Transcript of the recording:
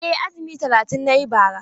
Eh, azumi talatin na yi bara.